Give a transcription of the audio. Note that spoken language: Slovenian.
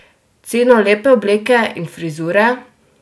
Ceno lepe obleke in frizure?